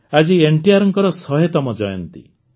ଆଜି ଏନ୍ଟିଆର୍ଙ୍କର ଶହେତମ ଜୟନ୍ତୀ